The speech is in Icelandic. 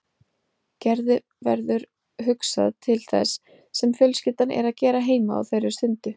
Gerði verður hugsað til þess sem fjölskyldan er að gera heima á þeirri stundu.